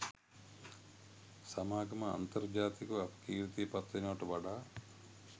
සමාගම අන්තර්ජාතිකව අපකීර්තියට පත්වෙනවට වඩා